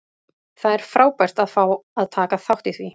Það er frábært að fá að taka þátt í því.